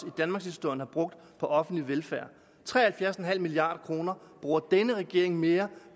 i danmarkshistorien har brugt på offentlig velfærd tre og halvfjerds milliard kroner bruger regeringen mere